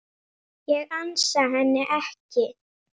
Ég ansa henni ekki.